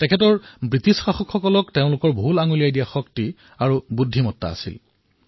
তেওঁৰ ব্ৰিটিছ শাসকক তেওঁলোকৰ ভুলক্ৰুটিসমূহ দেখুওৱাৰ শক্তি আৰু বুদ্ধিমত্তা আছিল